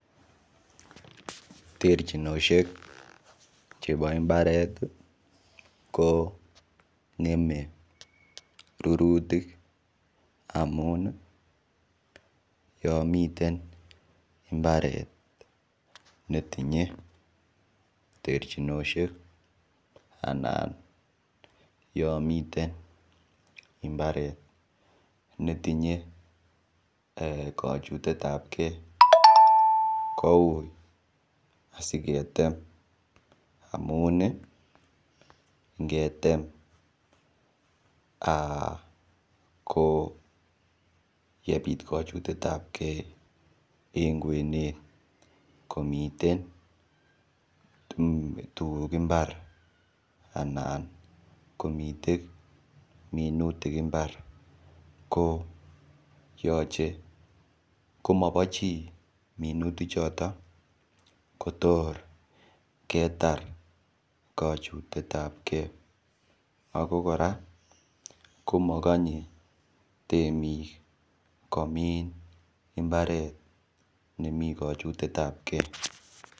Terchinoshek chebo mbaret ko ngemei rurutik amun yo miten mbaret netinyei terchinoshek anan yo miten mbaret netinyei kochutet ap kee koui asiketem amun ngetem ko yebit kochutet ap kee eng kwenet komiten tukuk imbar anan komite minutik mbar ko yochei komobo chii minutik choto kotor ketar kochutet ap kee ako kora mokonye temik komin imbaret nemi kochutet ap kee.